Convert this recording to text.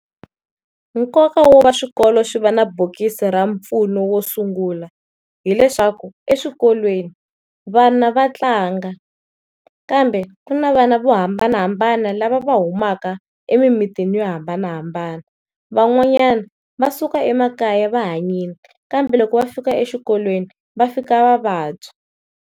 Nkoka wo va swikolo swi va na bokisi ra mpfuno wo sungula hileswaku eswikolweni vana va tlanga kambe ku na vana vo hambanahambana lava va humaka emimitini yo hambanahambana, van'wanyana va suka emakaya va hanyile kambe loko va fika exikolweni va fika va vabya.